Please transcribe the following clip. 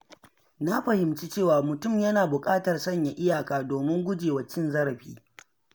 Na fahimci cewa mutum yana buƙatar sanya iyaka domin gujewa cin zarafi.